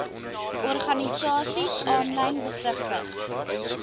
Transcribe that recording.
organisasies aanlyn besigtig